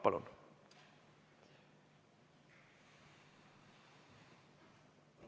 Palun!